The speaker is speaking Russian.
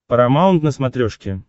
парамаунт на смотрешке